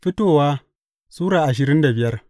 Fitowa Sura ashirin da biyar